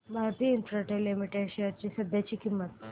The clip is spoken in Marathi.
भारती इन्फ्राटेल लिमिटेड शेअर्स ची सध्याची किंमत